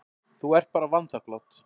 Þú ert bara vanþakklát.